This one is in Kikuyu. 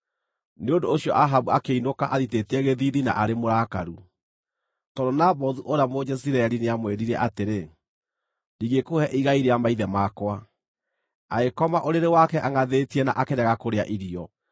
Nĩ ũndũ ũcio Ahabu akĩinũka athitĩtie gĩthiithi na arĩ mũrakaru, tondũ Nabothu ũrĩa Mũjezireeli nĩamwĩrire atĩrĩ, “Ndingĩkũhe igai rĩa maithe makwa.” Agĩkoma ũrĩrĩ wake angʼathĩtie na akĩrega kũrĩa irio.